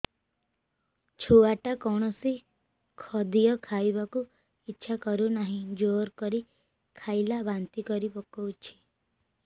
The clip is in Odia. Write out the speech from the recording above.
ଛୁଆ ଟା କୌଣସି ଖଦୀୟ ଖାଇବାକୁ ଈଛା କରୁନାହିଁ ଜୋର କରି ଖାଇଲା ବାନ୍ତି କରି ପକଉଛି